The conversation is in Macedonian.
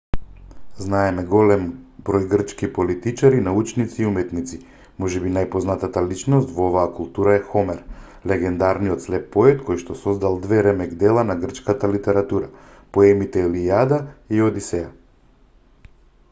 знаеме голем број грчки политичари научници и уметници можеби најпознатата личност во оваа култура е хомер легендарниот слеп поет којшто создал две ремек-дела на грчката литература поемите илијада и одисеја